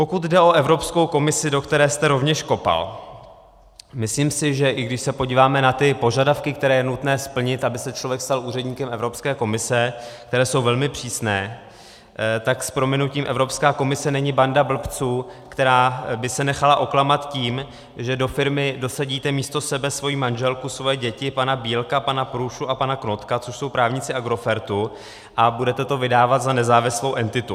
Pokud jde o Evropskou komisi, do které jste rovněž kopal, myslím si, že i když se podíváme na ty požadavky, které je nutné splnit, aby se člověk stal úředníkem Evropské komise, které jsou velmi přísné, tak s prominutím Evropská komise není banda blbců, která by se nechala oklamat tím, že do firmy dosadíte místo sebe svoji manželku, svoje děti, pana Bílka, pana Průšu a pana Knotka, což jsou právníci Agrofertu, a budete to vydávat za nezávislou entitu.